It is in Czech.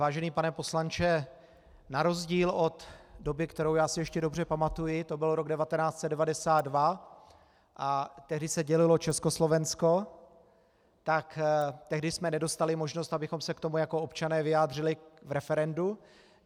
Vážený pane poslanče, na rozdíl od doby, kterou já si ještě dobře pamatuji, to byl rok 1992 a tehdy se dělilo Československo, tak tehdy jsme nedostali možnost, abychom se k tomu jako občané vyjádřili v referendu.